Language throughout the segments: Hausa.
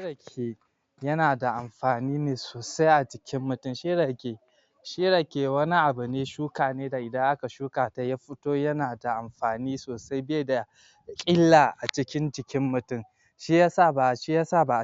Rake yana da amfani ne sosai a jikin mutum shi Rake shi rake wani abu ne shuka ne da idan aka shukata ya foto yana da amfani sosai bai da illa cikin jikin mutum shi ya sa ba a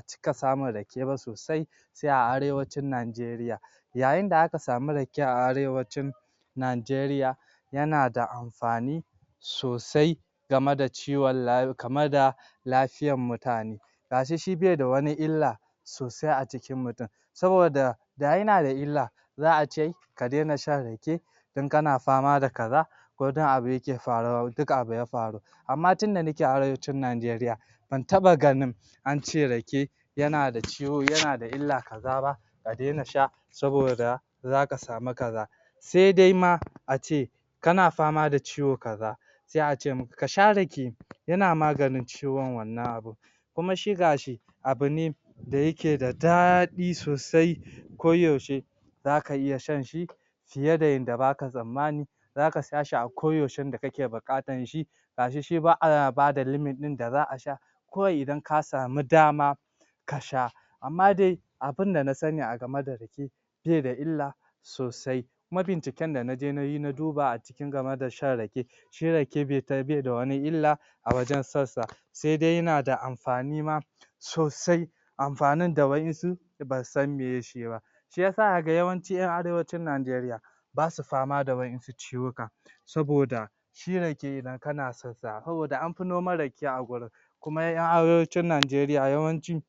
cika samun rake ba sosai sai a arewacin Nigaria yayin da aka samu rake a arewacin Nigaria yana da amfani sosai game da ciwon layu kama da lafiyar mutane ga shi shi baida wani illa sosai a cikin mutum saboda da yana da illa za a ce ka dena shan rake in kana fama da kaza kodan abu yake faru duka abi ya faru amma tunda nake Arewacin Nigaria ban taɓa ganin ance rake yana da ciw yana da illa kaza ab ka dena sha saboda za ka samu kaza sai dai ma a ce kana fama da ciwo kaza sai ace maka k sai a ce maka ka sha rake yana maganin ciwon wannan abun kuma shi ga shi abu ne da yake da daɗi sosai koyaushe zaka iya shan shi fiye da yadda baka tsammani za ka sha shi a koyaushe da kake buƙatan shi ga shi shi ba a bada limit ɗin da za a sha kawai idan ka samu dama kasha amma dai abinda na sani a game da rake be da illa sosai kuma binciken da ja na yi na duba a cikin game da shan rake shi Rake bai ka bai da wani illa a wajen shan sa sai dai tana da amfani ma sosai amfanin da wa'yansu basu san maye shi ba shi ya sa kaga yawanci 'yan Arewacin Nigaria ba su fama da ba su fama da wa'yansu ciwukan saboda shi rake idan kana? saboda an fi noman Rake a wurin kuma 'yan Arewacin Nigarian yawanci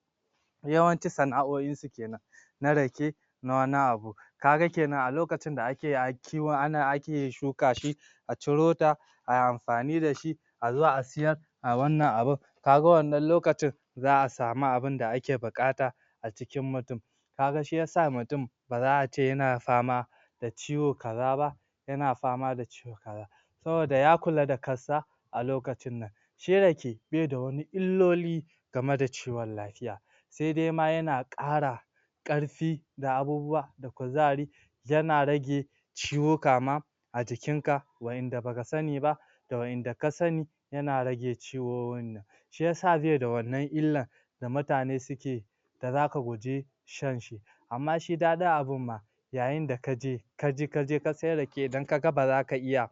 yawanci sana'o'insu kenan na Rake na wani abu ka ga kenan a lokacin da ake ake akiin shuka shi a ciro ta a amfani da shi a zo a siyar a wannan abun ka ga wanann lokacin za a samu abinda ake buƙata a cikin mutum ka ga shi ya sa mutum ba za a ce yana fama da da ciwo kaza ba yana fama da ciwo kaza saboda ya kula da kassa a lokacin nan shi Rake bai da wani illoli game da ciwon lafiya sai dai ma yana ƙara ƙarfi da abubuwa kuzari yana rage ciwuka ma a jikinka wa'yanda baka sani ba da wa'yanda ka sani yana rake ciwo shi ya sa bai da wannan illa da mutane suke da zaka guje shan shi amma shi daɗin abin ma yayin da ka je ka je ka je sai rake idan ka ga ba za ka iya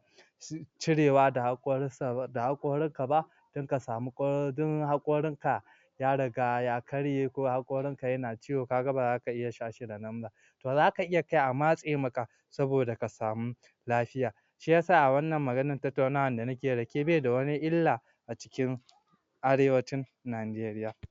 cirewa da haƙorinsa ba da haƙorinka ba don ka samun ko don haƙorinka ya riga ya karye ko haƙorinka yana ciwo ka ga ba za ka iya sha shi da nan ba to za ka iya kai a matse maka saboda ka samu lafiya shi ya sa a wannan maganar tattaunawa da neke Rake baida wani illa a cikin Arewacin Nigarian